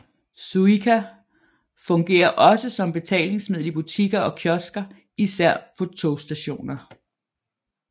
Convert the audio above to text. Suica fungerer også som betalingsmiddel i butikker og kiosker især på togstationer